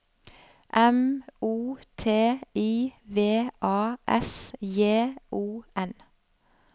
M O T I V A S J O N